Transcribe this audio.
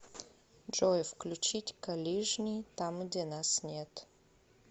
джой включить калижний там где нас нет